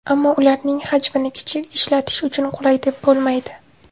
Ammo ularning xajmini kichik, ishlatish uchun qulay deb bo‘lmaydi.